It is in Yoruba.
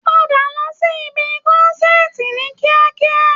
Padà lọ sí ìbi kọ́nsàtii ní kíákíá!